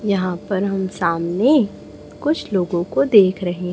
यहां पर हम सामने कुछ लोगों को देख रहे--